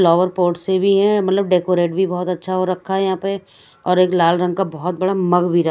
flower pot से भी है मतलब डेकोरेट भी बहुत अच्छा हो रखा है यहाँ पे और एक लाल रंग का बहुत बड़ा मग भी रख --